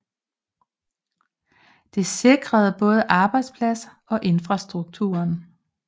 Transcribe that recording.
Det sikrede både arbejdspladser og infrastrukturen